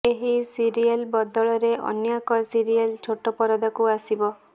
ଏହି ସିରିଏଲବଦଳରେ ଅନ୍ୟ ଏକ ସିରିଏଲ ଛୋଟ ପରଦାକୁ ଆସିବ